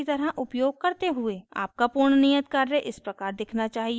आपका पूर्ण नियत कार्य इस प्रकार दिखना चाहिए